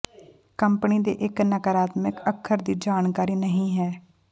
company ਦੇ ਇੱਕ ਨਕਾਰਾਤਮਕ ਅੱਖਰ ਦੀ ਜਾਣਕਾਰੀ ਨਹੀ ਹੈ